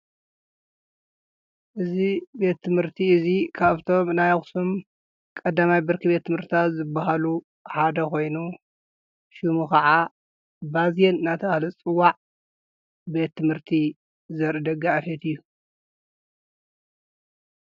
እዝ ቤትትምህርቲ እዙ ካኣፍቶም እናይቝስም ቀዳማይ ብርኪ ቤትምህርታ ዘብሃሉ ሓደ ኾይኑ ሽሙ ኸዓ ባዚን ናታሃለጽዋዕ ቤትትምህርቲ ዘርደጋ ኣፈት እዩ::